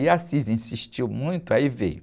E o insistiu muito, aí veio...